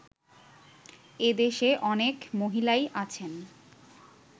এদেশে অনেক মহিলাই আছেন